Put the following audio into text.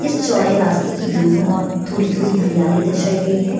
इस चौड़े रास्ते के दोनों ओर थोड़ी-थोड़ा हरियाली दर्शाई गई है।